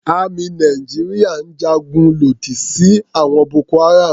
Àmì Nàìjíríà ń ja ogun lòdì sí àwọn Boko-Haram.